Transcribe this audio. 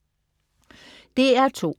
DR2: